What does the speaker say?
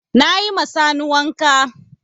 Na yi ma Sani wanka.